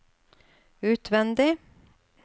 utvendig